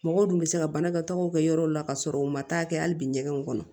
Mɔgɔw dun bɛ se ka banakɔtagaw kɛ yɔrɔw la ka sɔrɔ u ma taa kɛ hali bi ɲɛgɛn kɔnɔ